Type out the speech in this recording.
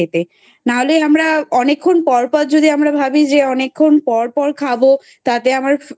না হলে আমরা অনেক্ষন পর পর যদি আমরা ভাবি যে অনেক্ষন পর পর খাবো. তাতে আমার